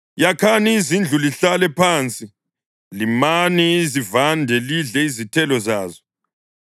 “Yakhani izindlu lihlale phansi; limani izivande lidle izithelo zazo.